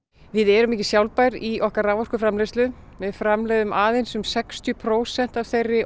við erum ekki sjálfbær í okkar raforkuframleiðslu við framleiðum aðeins um sextíu prósent af þeirri